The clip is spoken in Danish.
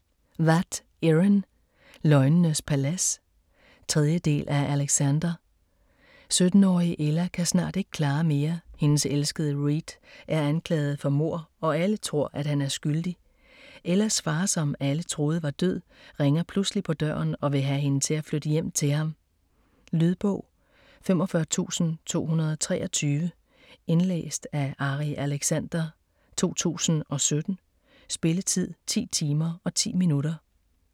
Watt, Erin: Løgnenes palads 3. del af Alexander. 17-årige Ella kan snart ikke klare mere. Hendes elskede Reed er anklaget for mord og alle tror, at han er skyldig. Ellas far, som alle troede var død, ringer pludselig på døren og vil have hende til at flytte hjem til ham. Lydbog 45223 Indlæst af Ari Alexander, 2017. Spilletid: 10 timer, 10 minutter.